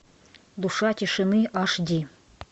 душа тишины аш ди